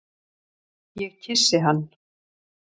Ég kyssi hann.